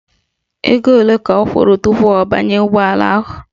Ego ole ka ọ kwụrụ tupu ọ banye ụgbọala ahụ?